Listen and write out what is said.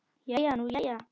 Jæja nú jæja.